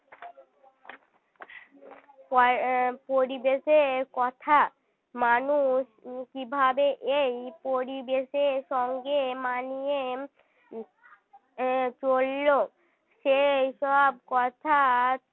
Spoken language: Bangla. পয়~ পরিবেশের কথা মানুষ কী ভাবে এই পরিবেশের সঙ্গে মানিয়ে আহ চলল সেই সব কথার